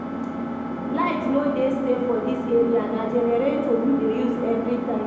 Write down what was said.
Light no dey stay for dis area, na generator we dey use every time